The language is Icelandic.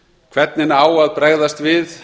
hvernig á að bregðast við